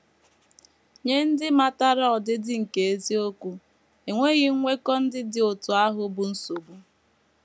Nye ndị matara ọdịdị nke eziokwu, enweghị nkwekọ ndị dị otú ahụ bụ nsogbu.